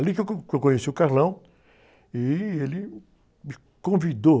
Ali que eu co, que eu conheci o e ele me convidou.